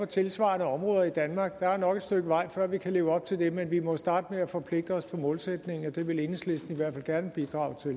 tilsvarende områder i danmark der er nok et stykke vej før vi kan leve op til det men vi må jo starte med at forpligte os på målsætningen og det vil enhedslisten i hvert fald gerne bidrage til